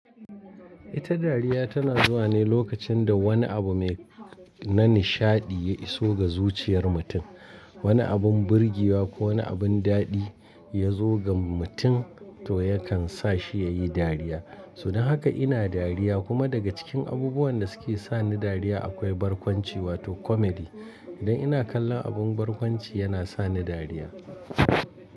Ita dariya tana zuwa ne lokacin da wani abu mai na nishaɗi ya iso ga zuciyar mutum. Wani abun burgewa ko wani abun daɗi ya zo ga mutum toh yakan sa shi ya yi dariya. Toh dan haka ina dariya kuma daga cikin abubuwan da suke sa ni dariya akwai barkwanci wato comedy. Idan ina kallon abun barkwanci yana sa ni dariya.